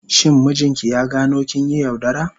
Shin mijinki ya gano kin yi yaudara?